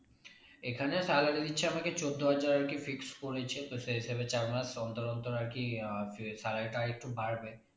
এখানে salary দিচ্ছে আমাকে চোদ্দ হাজার আরকি fixed করেছে তো সে হিসেবে চার মাস অন্তর অন্তর আর কি আহ salary টা আরেকটু বাড়বে